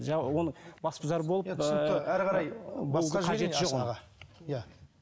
жаңа оны басбұзар болып иә